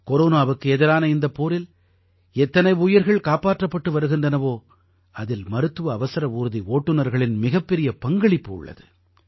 கொரோனாவுக்கு எதிரான இந்தப் போரில் எத்தனை உயிர்கள் காப்பாற்றப்பட்டு வருகின்றனவோ அதில் மருத்துவ அவசர ஊர்தி ஓட்டுநர்களின் மிகப்பெரிய பங்களிப்பு உள்ளது